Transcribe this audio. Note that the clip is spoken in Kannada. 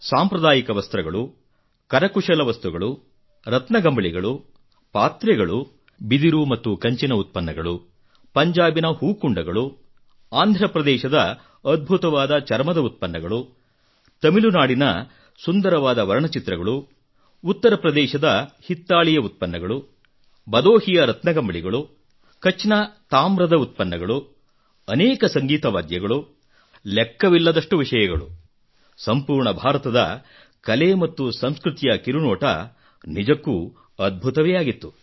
ಸಾಂಪ್ರದಾಯಿಕ ವಸ್ತ್ರಗಳು ಕರಕುಶಲ ವಸ್ತುಗಳು ರತ್ನಗಂಬಳಿಗಳು ಪಾತ್ರೆಗಳು ಬಿದಿರು ಮತ್ತು ಕಂಚಿನ ಉತ್ಪನ್ನಗಳು ಪಂಜಾಬಿನ ಹೂಕುಂಡಗಳು ಆಂಧ್ರಪ್ರದೇಶದ ಅದ್ಭುತವಾದ ಚರ್ಮದ ಉತ್ಪನ್ನಗಳು ತಮಿಳುನಾಡಿನ ಸುಂದರವಾದ ವರ್ಣಚಿತ್ರಗಳು ಉತ್ತರ ಪ್ರದೇಶದ ಹಿತ್ತಾಳೆಯ ಉತ್ಪನ್ನಗಳು ಬದೋಹಿಯ ರತ್ನಗಂಬಳಿಗಳು ಕಛ್ ನ ತಾಮ್ರದ ಉತ್ಪನ್ನಗಳು ಅನೇಕ ಸಂಗೀತ ವಾದ್ಯಗಳು ಲೆಕ್ಕವಿಲ್ಲದಷ್ಟು ಮಾತುಗಳು ಸಂಪೂರ್ಣ ಭಾರತದ ಕಲೆ ಮತ್ತು ಸಂಸ್ಕೃತಿಯ ಕಿರುನೋಟ ನಿಜಕ್ಕೂ ಅದ್ಭುತವೇ ಆಗಿತ್ತು